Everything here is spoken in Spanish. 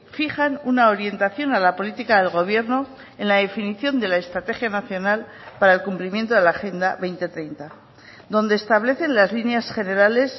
fijan una orientación a la política del gobierno en la definición de la estrategia nacional para el cumplimiento de la agenda dos mil treinta donde establecen las líneas generales